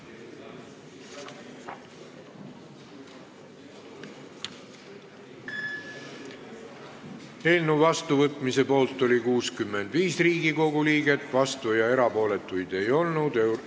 Hääletustulemused Eelnõu vastuvõtmise poolt oli 65 Riigikogu liiget, vastuolijaid ega erapooletuid ei olnud.